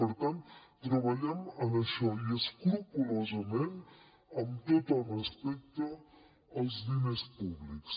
per tant treballem en això i escrupolosament amb tot el respecte als diners públics